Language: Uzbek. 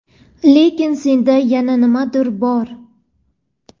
Lekin senda yana nimadir bor.